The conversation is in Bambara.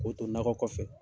O to nɔkɔ kɔfɛ.